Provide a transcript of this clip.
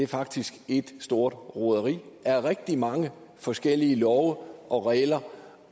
faktisk er et stort roderi af rigtig mange forskellige love og regler